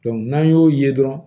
n'an y'o ye dɔrɔn